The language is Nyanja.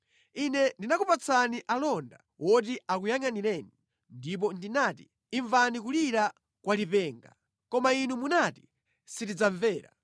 Ine ndinakupatsani alonda oti akuyangʼanireni ndipo ndinati, ‘Imvani kulira kwa lipenga!’ koma inu munati, ‘Sitidzamvera.’